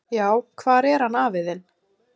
"""Já, hvar er hann afi þinn?"""